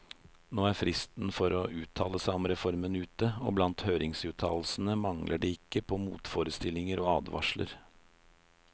Nå er fristen for å uttale seg om reformen ute, og blant høringsuttalelsene mangler det ikke på motforestillinger og advarsler.